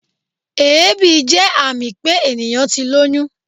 Èébì jẹ́ àmì pé ènìyàn ti lóyún.